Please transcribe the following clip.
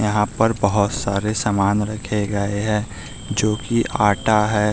यहां पर बहुत सारे सामान रखे गए हैं जो कि आटा है।